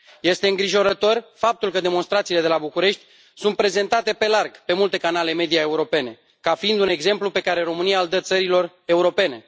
Este îngrijorător faptul că demonstrațiile de la București sunt prezentate pe larg pe multe canale media europene ca fiind un exemplu pe care România îl dă țărilor europene.